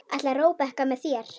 Ætlar Róbert með þér?